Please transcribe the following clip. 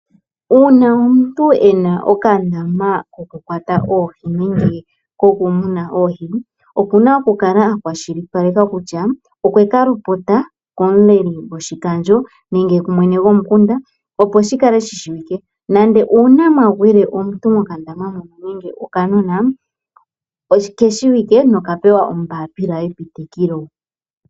Uuna omuntu ena okandama kokumunina oohi okuna oku kala akwashilipaleka kutya okwekalopota komukeli gwoshikandjo nenge okumwene gwomukunda, opo uuna mwagwile omuntu nenge okanona okeshiwike nokapewa ombaapila yepitikilo.